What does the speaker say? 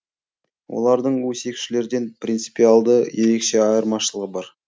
олардың өсекшілерден принципиалды ерекше айырмашылығы бар